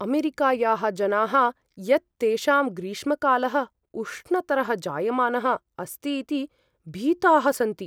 अमेरिकायाः जनाः यत् तेषां ग्रीष्मकालः उष्णतरः जायमानः अस्ति इति भीताः सन्ति।